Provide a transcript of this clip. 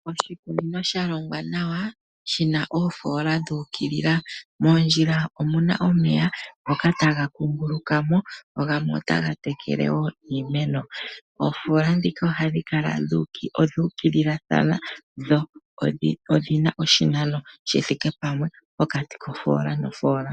Oshikunino shalongwa nawa shina oofoola dhu ukilila ,moondjila omuna omeya ngoka taga kuunguluka mo gamwe otaga tekele wo iimeno. Oofoola ndhika odhu ukilathana dho odhi na oshinano shithike pamwe pokati kofoola nofoola.